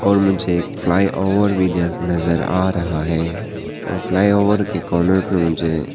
और मुझे एक फ्लाई ओवर भी नजर आ रहा है और फ्लाईओवर के कॉर्नर पर मुझे--